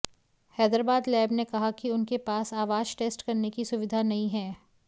Hyderabad lab ने कहा कि उनके पास आवाज टेस्ट करने की सुविधा नहीं है